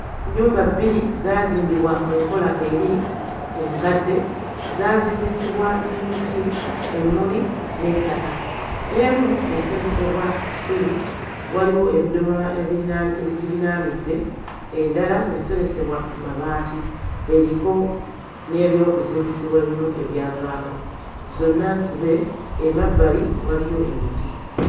Nnyumba bbiri zaazimbibwa mu nkola eri enkadde. Zaazimbisibwa n'emiti, emmuli n'ettaka. Emu yaseresebwa ssubi, waliwo ebidomola ebirinaani ebigirinaanidde, endala yaseresebwa mabaati eriko n'ebyokuzimbisibwa ebimu ebyavaako, zonna nsibe emabbali waliyo emiti.